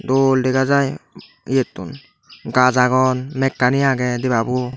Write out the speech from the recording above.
dol dega jai eyettun gach agon mekkani agey debabuo.